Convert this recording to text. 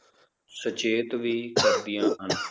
ਸਚੇਤ ਵੀ ਕਰਦੀਆਂ ਹਨ